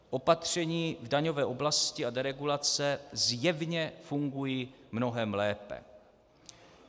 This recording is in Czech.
Opatření v daňové oblasti a deregulace zjevně fungují mnohem lépe."